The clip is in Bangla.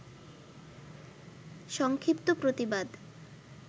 সংক্ষিপ্ত প্রতিবাদ